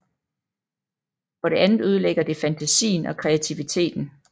For det andet ødelægger det fantasien og kreativiteten